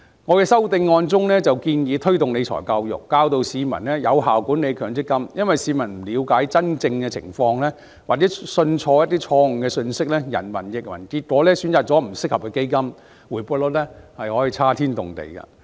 我的修正案建議推動理財教育，教育市民有效管理強積金，因為若市民不了解真正的情況，或錯信一些錯誤的信息，人云亦云，結果選擇了不適合的基金，回報率可以差天共地。